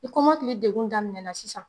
Ni kɔmɔkili degun daminɛ na sisan